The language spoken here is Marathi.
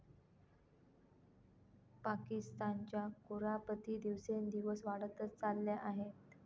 पाकिस्तानच्या कुरापती दिवसेंदिवस वाढतंच चालल्या आहेत.